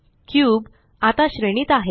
cube आता श्रेणीत आहे